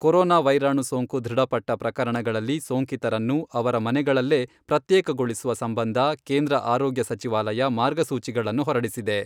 Corona ವೈರಾಣು ಸೋಂಕು ದೃಢಪಟ್ಟ ಪ್ರಕರಣಗಳಲ್ಲಿ ಸೋಂಕಿತರನ್ನು ಅವರ ಮನೆಗಳಲ್ಲೇ ಪ್ರತ್ಯೇಕಗೊಳಿಸುವ ಸಂಬಂಧ ಕೇಂದ್ರ ಆರೋಗ್ಯ ಸಚಿವಾಲಯ ಮಾರ್ಗಸೂಚಿಗಳನ್ನು ಹೊರಡಿಸಿದೆ.